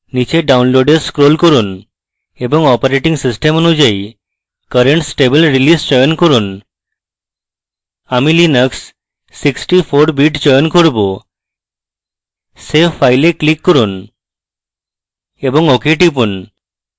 নীচে download এ scroll করুন এবং operating system অনুযায়ী current stable release চয়ন করুন আমি linux 64bit চয়ন করব save file এ click করুন এবং ok টিপুন